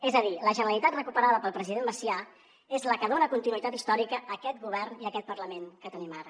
és a dir la generalitat recuperada pel president macià és la que dona continuïtat històrica a aquest govern i a aquest parlament que tenim ara